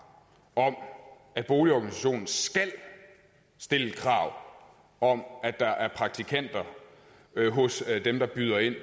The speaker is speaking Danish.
om at boligorganisationen skal stille krav om at der er praktikanter hos dem der byder ind